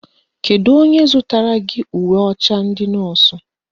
Kedu onye zụtara gị uwe ọcha ndị nọọsụ?